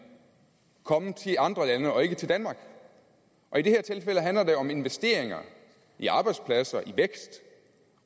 komme til de andre lande og ikke til danmark og i det her tilfælde handler det om investeringer i arbejdspladser i vækst